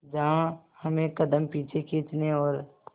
जहां हमें कदम पीछे खींचने और